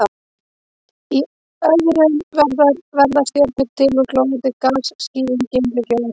Í öðrum verða stjörnur til úr glóandi gasskýjum, geimryki og öðrum efnum.